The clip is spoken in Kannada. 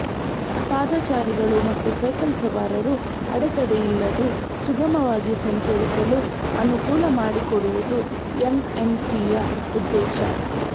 ಪಾದಚಾರಿಗಳು ಮತ್ತು ಸೈಕಲ್ ಸವಾರರು ಅಡೆತಡೆಯಿಲ್ಲದೆ ಸುಗಮವಾಗಿ ಸಂಚರಿಸಲು ಅನುಕೂಲ ಮಾಡಿಕೊಡುವುದು ಎನ್ಎಂಟಿಯ ಉದ್ದೇಶ